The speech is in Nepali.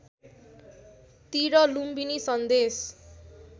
तिर लुम्बिनी सन्देश